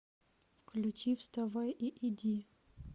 включи вставай и иди